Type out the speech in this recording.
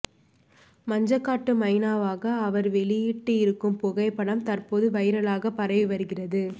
மஞ்சக் காட்டு மைனாவாக அவர் வெளியிட்டு இருக்கும் புகைப்படம் தற்போது வைரலாக பரவி வருகிறது